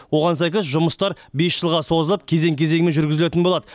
оған сәйкес жұмыстар бес жылға созылып кезең кезеңімен жүргізілетін болады